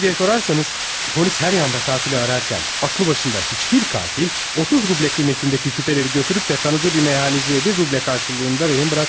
Niyə deyə sorarsanız, polis hər yanda qatili ararkən, ağlı başında heç bir qatil 30 rublə qiymətindəki küpələri götürüb də tanıdığı bir meyxanəciyə bir rublə qarşılığında rehin buraxmaz.